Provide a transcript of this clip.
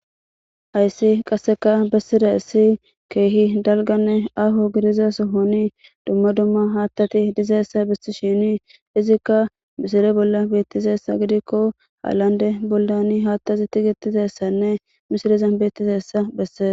hayssi qasseka bessira issi keehi dalganne afo gidizaso honi dumma dumma haattati dizeessa bisti shini izikka misile bolla beettiseessa gidikko haallande bollani haattasi tigitizessanne mishilizan beettizessa bessees.